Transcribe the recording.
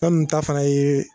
Fɛn min ta fana ye.